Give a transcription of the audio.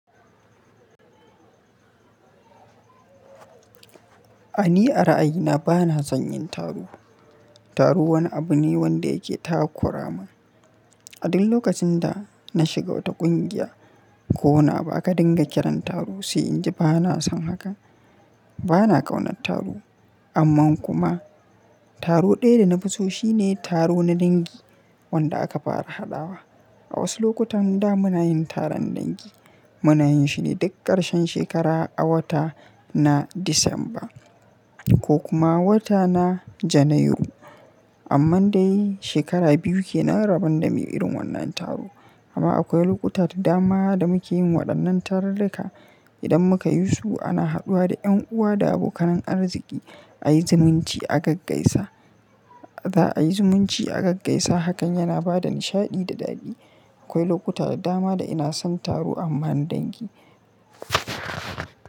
A ni a ra'ayina bana son yin taro. Taro wani abu ne wanda yake takura ma. A duk lokacin da na shiga wata ƙungiya ko na ba ka dinga kiran taro sai in ji bana son haka. Bana ƙaunat taro, amma kuma taro ɗaya da na fi so shi ne taro na dangi wanda aka fara haɗawa. A wasu lokutan da muna yin taron dangi, muna yin shi ne duk ƙarshen shekara a wata na Disamba ko kuma wata na Janairu. Amma dai shekara biyu ke nan rabon da mu yi irin wannan taro. Amma akwai lokuta da dama da muke yin waɗannan tararka idan muka yi su ana haɗuwa da ƴan uwa da abokanan arziki ayi zumunci a gaggaisa. Za a yi zumunci a gaggaisa hakan yana ba da nishaɗi da daɗi. Akwai lokuta da dama da ina son taro amma na dangi.